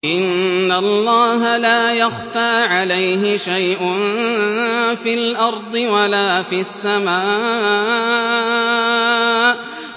إِنَّ اللَّهَ لَا يَخْفَىٰ عَلَيْهِ شَيْءٌ فِي الْأَرْضِ وَلَا فِي السَّمَاءِ